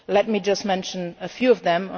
Let me just mention a few of them.